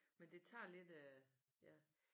Men det tager lidt øh ja